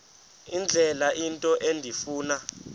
indlela into endifuna